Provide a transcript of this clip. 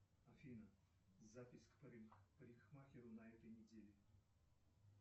афина запись к парикмахеру на этой неделе